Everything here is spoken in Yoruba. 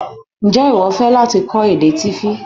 N jẹ iwọ nifẹ lati kọ èdè Tífí?